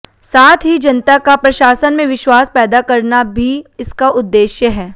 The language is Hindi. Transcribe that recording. साथ ही जनता का प्रशासन में विश्वास पैदा करना भी इसका उद्देश्य है